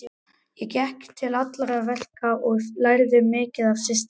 Ég gekk til allra verka og lærði mikið af systrunum.